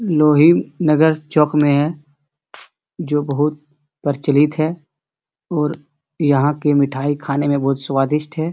लोहीम नगर चौक में है जो बहुत प्रचलित है और यहाँ के मिठाई खाने में बहुत स्वादिस्ट है।